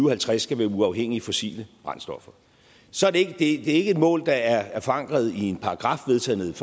og halvtreds skal være uafhængige af fossile brændstoffer så det er ikke et mål der er forankret i en paragraf vedtaget